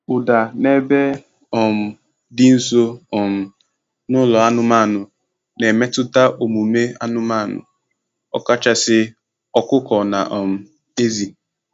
Ụda n’ebe um dị nso um n'ụlọ anụmanụ na-emetụta omume anụmanụ, ọkachasị ọkụkọ na um ezì.